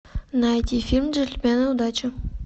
найди фильм джентльмены удачи